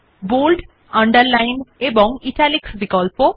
bold underline এবং italics বিকল্প